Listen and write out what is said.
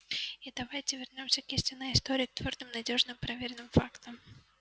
и давайте вернёмся к истинной истории к твёрдым надёжным проверенным фактам